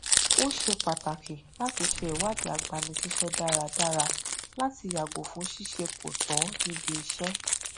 ó ṣe pàtàkì láti ṣe iṣẹ ìwádìí agbanisíṣẹ dáradára láti yàgò fún ṣíṣe kò tọ níbi iṣẹ